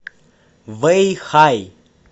вэйхай